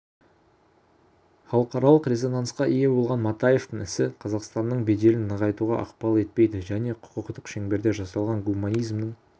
халықаралық резонансқа ие болған матаевтың ісі қазақстанның беделін нығайтуға ықпал етпейді және құқықтық шеңберде жасалған гуманизмнің